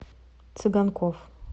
цыганков